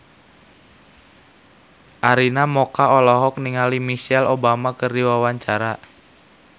Arina Mocca olohok ningali Michelle Obama keur diwawancara